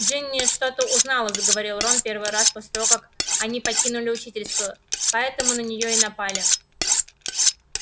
джинни что-то узнала заговорил рон первый раз после того как они покинули учительскую поэтому на неё и напали